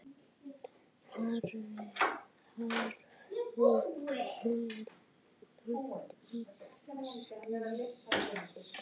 Hafði hann lent í slysi?